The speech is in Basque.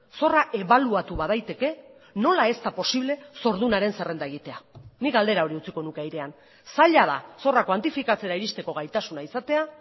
zorra ebaluatu badaiteke nola ez da posible zordunaren zerrenda egitea nik galdera hori utziko nuke airean zaila da zorra kuantifikatzera iristeko gaitasuna izatea